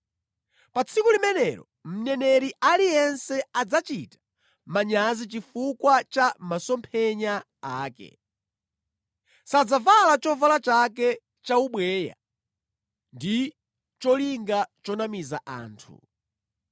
“Pa tsiku limenelo mneneri aliyense adzachita manyazi chifukwa cha masomphenya ake. Sadzavala chovala chake chaubweya ndi cholinga chonamiza anthu.